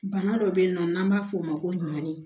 Bana dɔ bɛ yen nɔ n'an b'a f'o ma ko ɲɔɔn